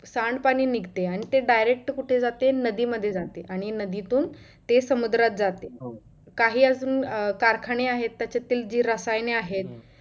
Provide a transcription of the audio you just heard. सांड पाणी निघते आणि ते direct कुठे जाते नदी मध्ये जाते आणि नदीतून ते समुद्रात जाते काही अजून अं कारखाने आहेत त्याच्यातील जी रसायने आहेत.